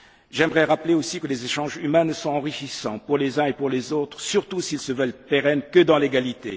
J'aimerais rappeler que les échanges humains ne sont enrichissants pour les uns et pour les autres, surtout s'ils se veulent pérennes, que dans l'égalité.